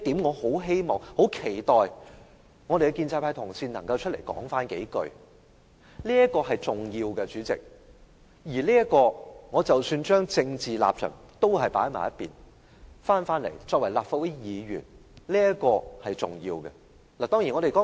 我很希望和期待建制派同事能就此說幾句話，這是相當重要的，即使把政治立場放在一旁，單以立法會議員的身份而論，這也是重要的一點。